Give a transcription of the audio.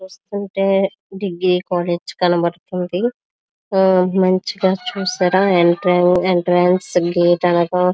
చూస్తుంటే degree college కనబడుతుంది. మచిగా చూసారా ఎంట్రీ లొ